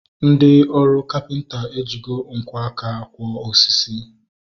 Ndị ọrụ kapịnta ejigo nkwo aka kwọ osisi